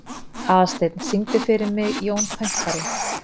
Aðalsteinn, syngdu fyrir mig „Jón Pönkari“.